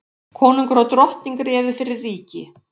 Konungur og drottning réðu fyrir ríki.